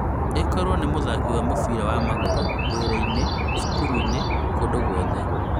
Īkorwo nĩ mũthako wa mũbĩra wa magũrũ, wĩra-inĩ, cukuru-inĩ, KŨNDŨ GWOTHE